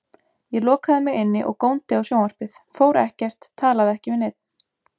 Ég lokaði mig inni og góndi á sjónvarpið, fór ekkert, talaði ekki við neinn.